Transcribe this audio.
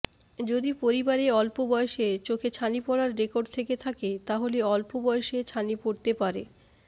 যদি পরিবারে অল্পবয়সে চোখে ছানি পড়ার রেকর্ড থেকে থাকে তাহলে অল্প বয়সে ছানি পড়তে পারে